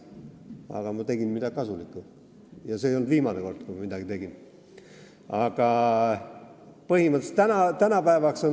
Aga ma tegin midagi kasulikku ja see ei olnud viimane kord, kui ma midagi tegin.